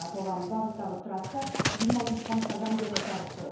аталған бағыттағы трасса жиырма алтыншы қаңтардан бері жабық тұр